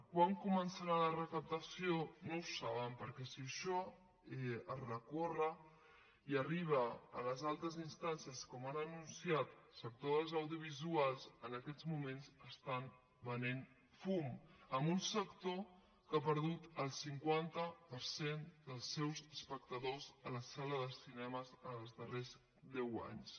quan començarà la recaptació no ho saben perquè si contra això es recorre i arriba a les altes instàncies com han anunciat al sector dels audiovisuals en aquests moments estan venent fum en un sector que ha perdut el cinquanta per cent dels seus espectadors a les sales de cinema els darrers deu anys